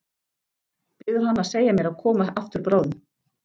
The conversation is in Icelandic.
Biður hana að segja mér að koma aftur bráðum.